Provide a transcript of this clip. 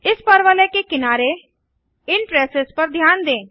इस परवलय के किनारे इन ट्रेसेस पर ध्यान दें